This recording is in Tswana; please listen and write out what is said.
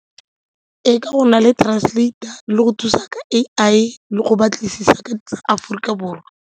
Ee, ka go nna le translator le go thusa ka A_I le go batlisisa ka Aforika Borwa.